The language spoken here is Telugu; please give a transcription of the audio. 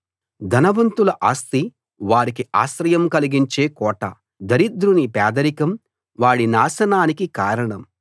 ధనవంతుల ఆస్తి వారికి ఆశ్రయం కలిగించే కోట దరిద్రుని పేదరికం వాడి నాశనానికి కారణం